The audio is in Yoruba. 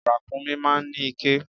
Ràkúnmí máa ń ní iké.